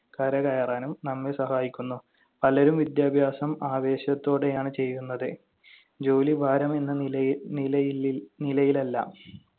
കരകയറാനും നമ്മെ സഹായിക്കുന്നു. പലരും വിദ്യാഭ്യാസം ആവേശത്തോടെയാണ് ചെയ്യുന്നത്. ജോലിഭാരം എന്ന നിലയി~ നിലയിലി~ നിലയിലല്ല.